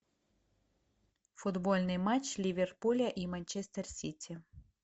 футбольный матч ливерпуля и манчестер сити